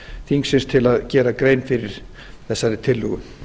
þingsins til að gera grein fyrir þessari tillögu